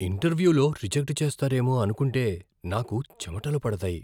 ఇంటర్వ్యూలో రిజెక్ట్ చేస్తారేమో అనుకుంటే నాకు చెమటలు పడతాయి.